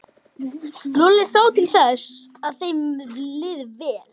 Lúlli sá til þess að þeim liði vel.